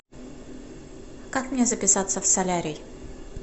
как мне записаться в солярий